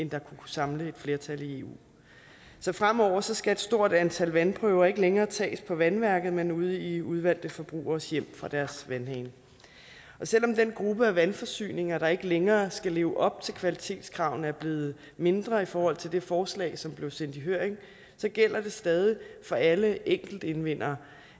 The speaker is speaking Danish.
der kunne samle et flertal i eu så fremover skal et stort antal vandprøver ikke længere tages på vandværket men ude i udvalgte forbrugeres hjem fra deres vandhaner selv om den gruppe af vandforsyninger der ikke længere skal leve op til kvalitetskravene er blevet mindre i forhold til det forslag som blev sendt i høring så gælder det stadig for alle enkeltindvindere